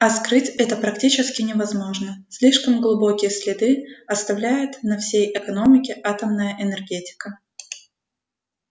а скрыть это практически невозможно слишком глубокие следы оставляет на всей экономике атомная энергетика